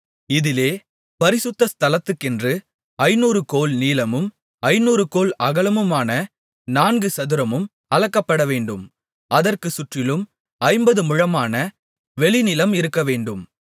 இதிலே பரிசுத்த ஸ்தலத்துக்கென்று ஐந்நூறு கோல் நீளமும் ஐந்நூறு கோல் அகலமுமான நான்குசதுரமும் அளக்கப்படவேண்டும் அதற்குச் சுற்றிலும் ஐம்பது முழமான வெளிநிலம் இருக்கவேண்டும்